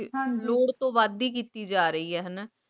ਹਾਂਜੀ ਲੋਰ ਤੋਂ ਵਾਦ ਈ ਕੀਤੀ ਜਾ ਰੀ ਆਯ ਹਾਨਾ